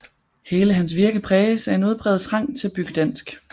Hele hans virke præges af en udpræget trang til at bygge dansk